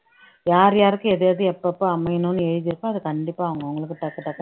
யார் யாருக்கு எது எது எப்பப்ப அமையணும்ன்னு எழுதி இருக்கோ அதை கண்டிப்பா அவங்களுக்கு